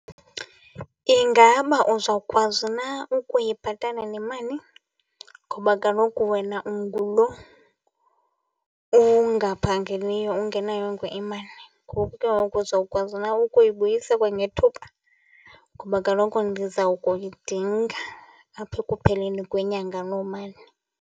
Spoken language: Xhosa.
Ingaba uzawukwazi na ukuyibhatala le mali? Ngoba kaloku wena ungulo ungaphangeli ungenayo imali. Ngoku ke ngoku uzawukwazi na ukuyibuyisa kwangethuba? Ngoba kaloku ndizawukuyidinga apha ekupheleni kwenyanga loo mali.